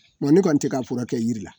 Mɛ ne kɔni tɛ k'a furakɛ kɛ jiri la.